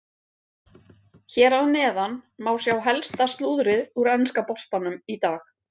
Hér að neðan má sjá helsta slúðrið úr enska boltanum í dag.